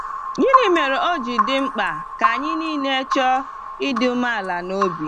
Gịnị mere ọ ji dị mkpa ka anyị niile “chọọ ịdị umeala n’obi”?